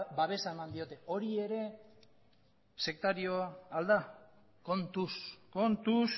babesa eman diote hori ere sektarioa al da kontuz kontuz